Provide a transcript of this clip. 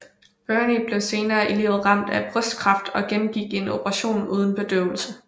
Burney blev senere i livet ramt af brystkræft og gennemgik en operation uden bedøvelse